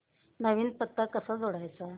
नवीन पत्ता कसा जोडायचा